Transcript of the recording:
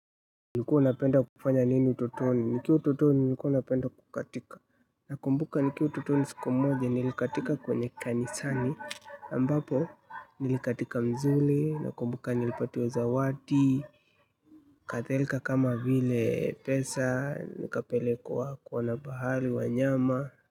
Ulikuwa unapenda kufanya nini utotoni? Nikiwa utotoni nilikuwa napenda kukatika, nakumbuka nikiwa utotoni siku moja nilikatika kwenye kanisani ambapo nilikatika mzuli. Nakumbuka nilipatiwa zawadi, kadhalika kama vile pesa, nikapelekwa kuona bahari, wanyama.